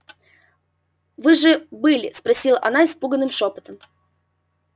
вы же были спросила она испуганным шёпотом